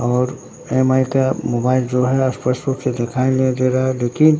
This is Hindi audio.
और एम_आई का मोबाइल जो है स्पष्ट रूप से दिखाई नहीं दे रहा है लेकिन--